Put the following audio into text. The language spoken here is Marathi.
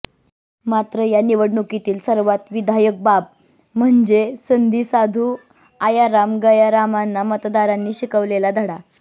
मात्र या निवडणुकीतील सर्वात विधायक बाब म्हणजे संधीसाधू आयाराम गयारामाना मतदारांनी शिकविलेला धडा